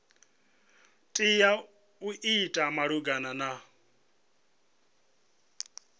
tea u ita malugana na